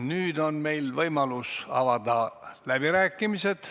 Nüüd on meil võimalus avada läbirääkimised.